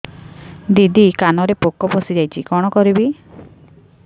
ଦିଦି କାନରେ ପୋକ ପଶିଯାଇଛି କଣ କରିଵି